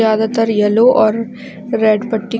ज्यादातर येलो और रेड पट्टी --